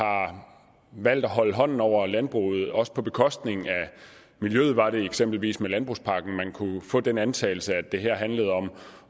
valgt at holde hånden over landbruget også på bekostning af miljøet eksempelvis med landbrugspakken man kunne få den antagelse at det her handlede om at